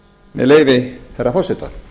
með leyfi hæstvirts forseta